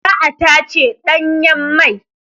Za a tace ɗanyen mai.